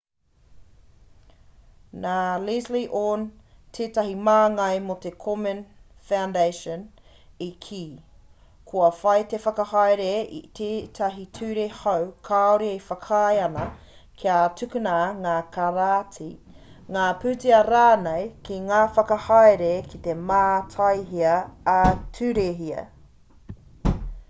nā leslie aun tētahi māngai mō te komen foundation i kī kua whai te whakahaere i tētahi ture hou kāore e whakaae ana kia tukuna ngā karāti ngā pūtea rānei ki ngā whakahaere kei te mātaihia ā-turehia